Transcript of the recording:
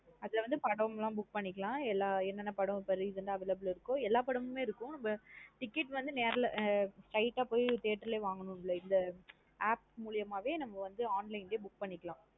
அதுல வந்து படம் லம் book பண்ணிக்கலாம். எல்லா என்ன படம் recent ஆ available ல இருக்கோ எல்லா படமுமே இருக்கும் ticket வந்து நேர்ல போய் straight ஆ போய் theatre ல வாங்கனு இல்ல இந்த app முலியமா வே நம்ம வந்து online லையே book பண்ணிக்கலாம்.